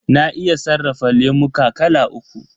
Na iya sarrafa lemuka kala uku.